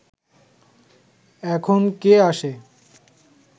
এখন কে আসে